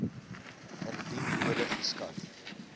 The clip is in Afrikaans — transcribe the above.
indien nodig geskat